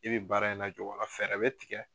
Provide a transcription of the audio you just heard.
E bɛ baara in lajɔ wa? fɛɛrɛ bɛ tigɛ.